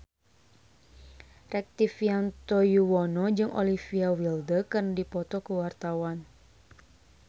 Rektivianto Yoewono jeung Olivia Wilde keur dipoto ku wartawan